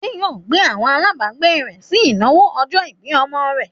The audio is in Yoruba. Adé yóò pe àwọn alágbàágbé rẹ̀ sí ìnáwó ọjọ́-ìbí ọmọ rẹ̀.